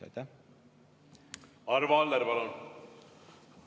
Arvo Aller, palun!